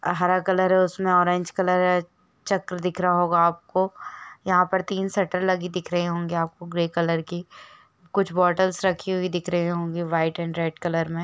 हरा कलर है उसमे ऑरेंज कलर है च्रक दिख रहा होगा आपको यंहा पर तीन शटर लगी दिख रही होगी आपको ग्रे लेकर की कुछ बोतल रखी दिख रही होगी वाइट और रेड कलर में--